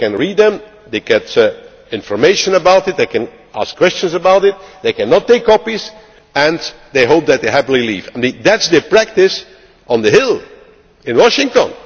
They can read them, they get information about it, they can ask questions about it, they cannot take copies and hopefully they leave happy. That is the practice on the Hill in Washington.